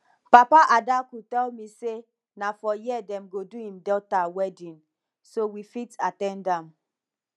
papa adaku tell me say na for here dem go do im daughter wedding so we fit at ten d am